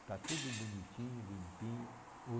Está tudo bonitinho, limpinho. O